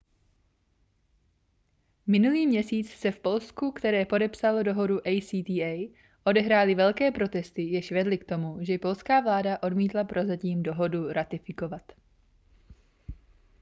minulý měsíc se v polsku které podepsalo dohodu acta odehrály velké protesty jež vedly k tomu že polská vláda odmítla prozatím dohodu ratifikovat